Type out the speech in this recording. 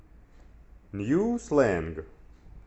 нью слэнг